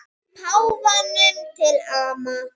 Páfanum til ama.